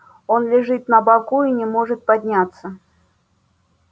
он лежит на боку и не может подняться